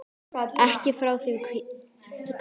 Ekki frá því kyn